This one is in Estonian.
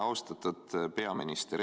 Austatud peaminister!